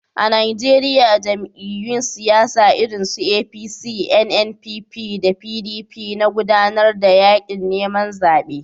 A Najeriya, jam'iyyun siyasa irinsu APC, NNPP, da PDP na gudanar da yaƙin neman zaɓe.